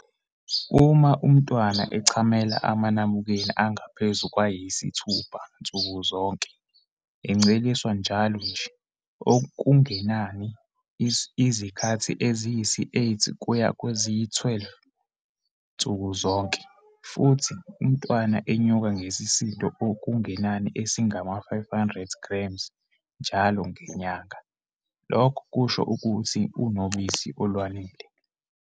Uma umntwana echamela amanabukeni angaphezu kwayisithupha nsuku zonke, enceliswa njalo nje, okungenani izikhathi eziyisi-8 kuya kweziyi-12 nsuku zonke, futhi umntwana enyuka ngesisindo okungenani esingama-500g njalo ngenyanga, lokho kusho ukuthi unobisi olwanele.